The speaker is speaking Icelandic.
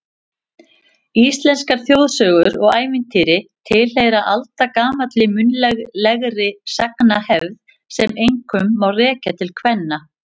Íslenskar þjóðsögur og ævintýri tilheyra aldagamalli munnlegri sagnahefð sem einkum má rekja til kvenna.